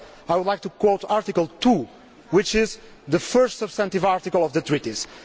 4. I would like to quote Article 2, which is the first substantive article of the Treaties.